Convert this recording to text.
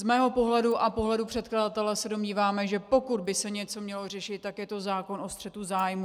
Z mého pohledu a pohledu předkladatele se domníváme, že pokud by se něco mělo řešit, tak je to zákon o střetu zájmů.